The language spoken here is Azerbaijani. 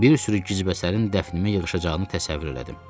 Bir sürü gizbəsərin dəfnimə yığışacağını təsəvvür elədim.